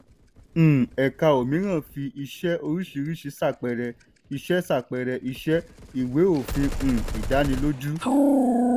um ẹ̀ka 'òmíràn' fi iṣẹ́ oríṣìíríṣìí ṣàpẹẹrẹ iṣẹ́ ṣàpẹẹrẹ iṣẹ́ ìwé òfin um ìdánilójú.